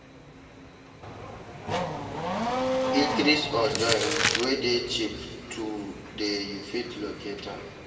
Eatries or joint wey de cheap too de you fit locate am